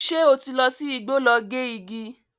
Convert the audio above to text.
Ṣé ó ti lọ sí igbó lọ gé igi?